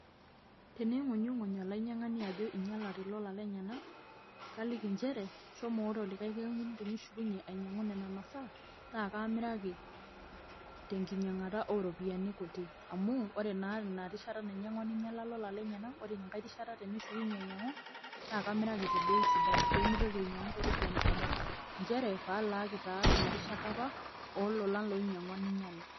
teneingunyunguny olainyangani ajo einyalate lolan lenyana ,kaliki nchere shomo ore likae kekun tenishukunye ainyangu nena masaa naa kaamiraki tenkinyangata ooropiyiani kuti, amuu ore naa ina rishata nainyangua neinyala lolan lenyana ore ina nkae rishata tenishukunye ainyangu naa kamiraki tebei sidai pee meitoki ainyangu too ropiyiani kumok nchere pee aalaaki taa ina rishata apa oo lolan oinyangua neinyala.